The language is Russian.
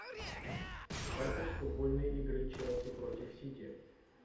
запись футбольной игры челси против сити